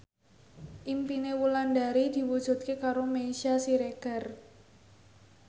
impine Wulandari diwujudke karo Meisya Siregar